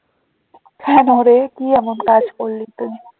কেন রে কি এমন কাজ করলি তুই?